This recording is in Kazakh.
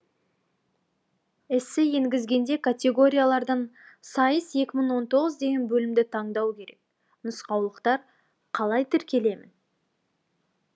эссе енгізгенде категориялардан сайыс екі мың он тоғыз деген бөлімді таңдау керек нұсқаулықтар қалай тіркелемін